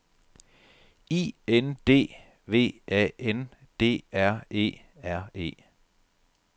I N D V A N D R E R E